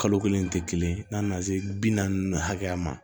Kalo kelen tɛ kelen ye n'a nana se bi naani hakɛya ma